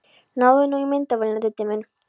Náðu nú í myndavélina, Diddi minn!